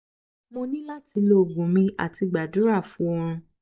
mo ni lati lo ogun mi ati gbadura fun orun